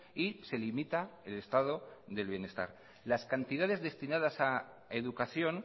y se limita el estado del bienestar las cantidades destinadas a educación